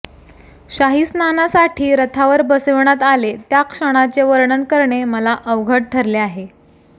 शाहीस्नानासाठी रथावर बसविण्यात आले त्या क्षणाचे वर्णन करणे मला अवघड ठरले आहे